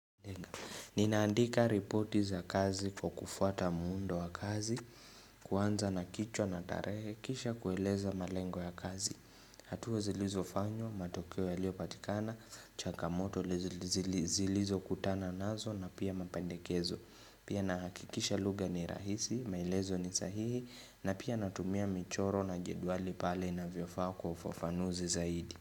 Ninaandika ripoti za kazi kwa kufuata muundo wa kazi, kuanza na kichwa na tarehe, kisha kueleza malengo ya kazi, hatua zilizofanywa, matokeo yaliopatikana, chakamoto zilizokutana nazo na pia mapendekezo, pia nahakikisha lugha ni rahisi, maelezo ni sahihi, na pia natumia michoro na jedwali pale inavyofaa kwa ufafanuzi zaidi.